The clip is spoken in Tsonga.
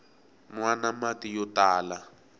nwana mati yo tala